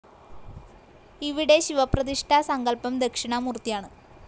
ഇവിടെ ശിവപ്രതിഷ്ഠാ സങ്കല്പം ദക്ഷിണാമൂർത്തിയാണ്.